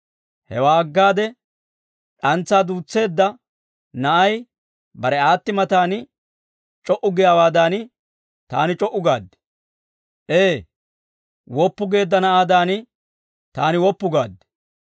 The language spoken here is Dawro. Hewaa aggade d'antsaa duus's'eedda na'ay bare aatti matan c'o"u giyaawaadan, taani c'o"u gaad. Ee, woppu geedda na'aadan taani woppu gaad.